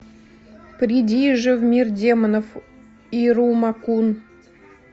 приди же в мир демонов ирума кун